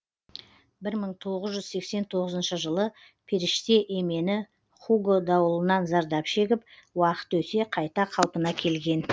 бір мың тоғыз жүз сексен тоғызыншы жылы періште емені хуго дауылынан зардап шегіп уақыт өте қайта қалпына келген